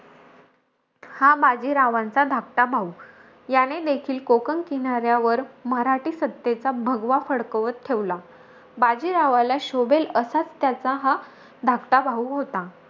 हा बाजीरावांचा धाकटा भाऊ. याने देखील, कोकण किनाऱ्यावर मराठी सत्तेचा भगवा फडकावत ठेवला. बाजीरावाला शो भेल असाचं त्याचा हा धाकटा भाऊ होता.